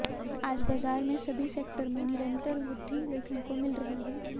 आज बाजार में सभी सेक्टर में निरंतर वृध्दि देखने को मिल रही है